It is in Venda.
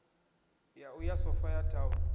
ya u ya sophia town